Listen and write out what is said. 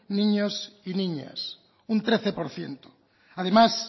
niños y niñas un trece por ciento además